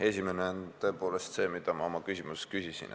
Esimene on see, mille kohta ma oma küsimuses küsisin.